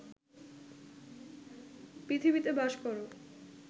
পৃথিবীতে বাস কর